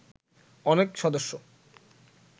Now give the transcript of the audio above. অনেক সদস্য